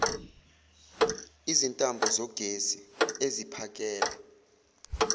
izintambo zogesi eziphakela